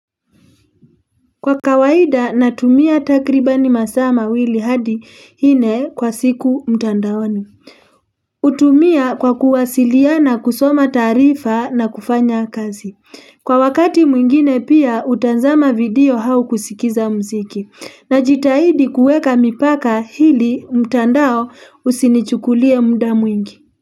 Kwa kawaida natumia takribani masaa mawili hadi ine kwa siku mtandaoni. Utumia kwa kuwasiliana kusoma taarifa na kufanya kazi. Kwa wakati mwingine pia utanzama video hau kusikiza mziki. Najitahidi kueka mipaka hili mtandao usinichukulie mda mwingi.